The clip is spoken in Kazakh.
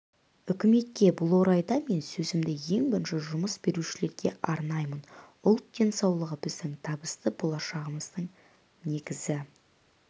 үкіметке бұл орайда мен сөзімді ең бірінші жұмыс берушілерге арнаймын ұлт денсаулығы біздің табысты болашағымыздың негізі